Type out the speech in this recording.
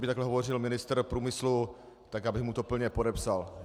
Kdyby takhle hovořil ministr průmyslu, tak bych mu to plně podepsal.